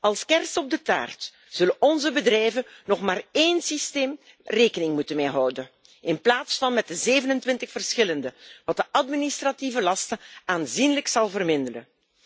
Als kers op de taart zullen onze bedrijven nog maar met één systeem rekening moeten houden, in plaats van met 27 verschillende, wat de administratieve lasten aanzienlijk zal verminderen.